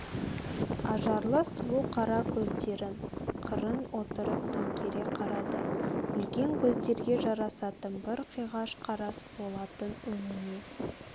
ажарлы сұлу қара көздерін қырын отырып төңкере қарады үлкен көздерге жарасатын бір қиғаш қарас болатын өңіне